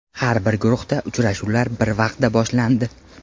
Har bir guruhda uchrashuvlar bir vaqtda boshlandi.